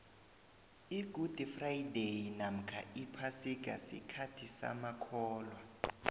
igudi fradayi nomkha iphasika sikhathi samakholwa